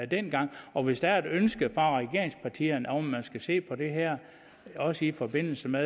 dengang og hvis der er et ønske fra regeringspartierne om at man skal se på det her også i forbindelse med